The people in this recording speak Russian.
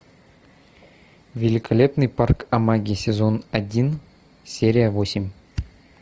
великолепный парк амаги сезон один серия восемь